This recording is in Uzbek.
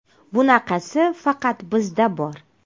Bunaqasi faqat bizda bor.